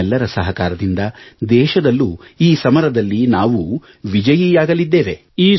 ನಿಮ್ಮೆಲ್ಲರ ಸಹಕಾರದಿಂದ ದೇಶದಲ್ಲೂ ಈ ಸಮರದಲ್ಲಿ ನಾವು ವಿಜಯಿಯಾಗಲಿದ್ದೇವೆ